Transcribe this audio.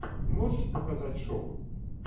можешь показать шоу